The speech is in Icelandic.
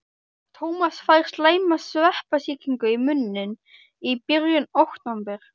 Tómas fær slæma sveppasýkingu í munninn í byrjun október.